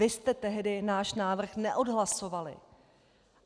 Vy jste tehdy náš návrh neodhlasovali.